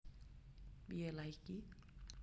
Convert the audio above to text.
Piye lèh iki